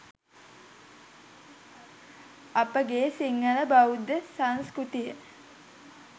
අපගේ සිංහල බෞද්ධ සංස්කෘතිය